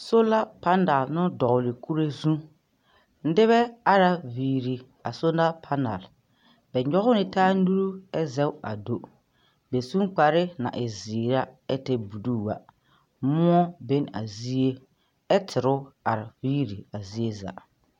Sola panel no dɔgele kure zũ. Nebɛ ara viiri a sola panale bɛ nyɔge ne taa nuru ɛ zɛge ka do bɛ su ne kpare na e zeere a ɛ tɛre buluu a. Moɔ be ne a zie ɛ tere are viiri a zie za.